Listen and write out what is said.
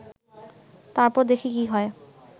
তারপর দেখি কী হয়